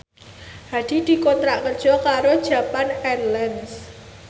Hadi dikontrak kerja karo Japan Airlines